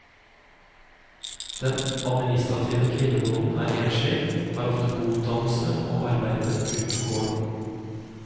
Den administrative kvinnebonden er enslig, har ofte god utdannelse og arbeide utenfor gården.